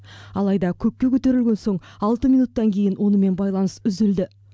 алайда көкке көтерілген соң алты минуттан кейін онымен байланыс үзілді